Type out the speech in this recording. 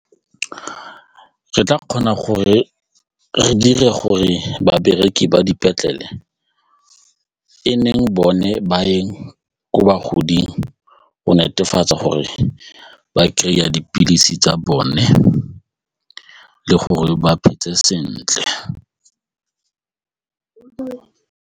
Re tla kgona gore re dire gore babereki ba dipetlele e neng bone ba yeng ko bagoding go netefatsa gore ba kry-a dipilisi tsa bone le gore ba phetse sentle.